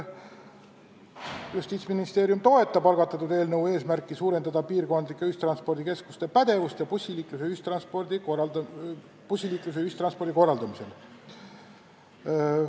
Justiitsministeerium toetab algatatud eelnõu eesmärki suurendada piirkondlike ühistranspordikeskuste pädevust bussiliikluse, ühistranspordi korraldamisel.